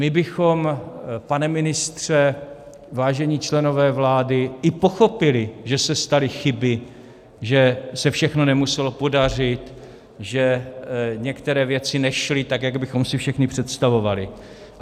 My bychom, pane ministře, vážení členové vlády, i pochopili, že se staly chyby, že se všechno nemuselo podařit, že některé věci nešly tak, jak bychom si všichni představovali.